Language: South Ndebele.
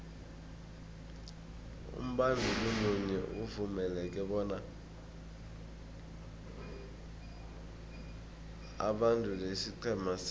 umbanduli munye uvumeleke bona abandule isiqhema sinye